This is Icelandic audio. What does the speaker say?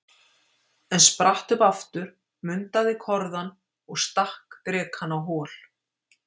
en spratt upp aftur, mundaði korðann- og stakk drekann á hol!